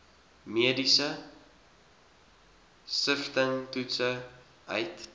mediese siftingstoetse uit